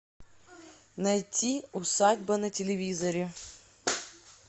найти усадьба на телевизоре